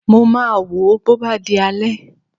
Mo máa wò ó bó bá di alẹ́